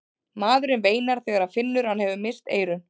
Maðurinn veinar þegar hann finnur að hann hefur misst eyrun.